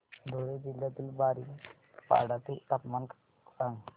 धुळे जिल्ह्यातील बारीपाडा चे तापमान सांग